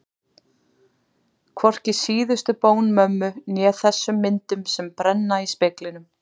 Hvorki síðustu bón mömmu né þessum myndum sem brenna í speglinum.